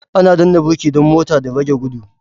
Ana danna birki dan mota da rage gudu